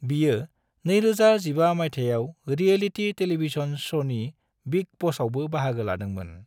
बियो 2015 मायथाइयाव reality television शोनि बिग बॉसआवबो बाहागो लादोंमोन।